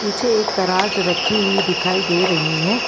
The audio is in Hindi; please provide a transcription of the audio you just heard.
पीछे एक कराज रखी हुई दिखाई दे रही है।